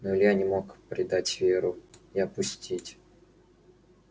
но илья не мог предать веру и опустить